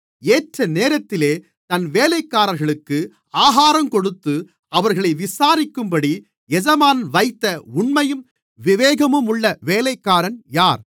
ஏற்ற நேரத்திலே தன் வேலைக்காரர்களுக்கு ஆகாரங்கொடுத்து அவர்களை விசாரிக்கும்படி எஜமான் வைத்த உண்மையும் விவேகமுமுள்ள வேலைக்காரன் யார்